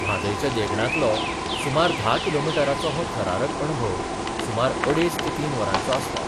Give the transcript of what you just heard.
म्हादयच्या देंगणांतलो सुमार धा किलोमिटराचो हो थरारक अणभव सुमार अडेज ते तीन वरांचो आसता.